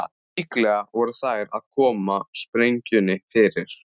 Líklega voru þær að koma sprengjunni fyrir.